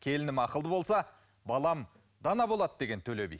келінім ақылды болса балам дана болады деген төле би